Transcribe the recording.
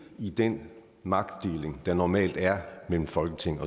i den magtdeling der normalt er mellem folketinget